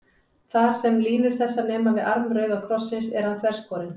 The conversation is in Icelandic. Þar, sem línur þessar nema við arm rauða krossins, er hann þverskorinn.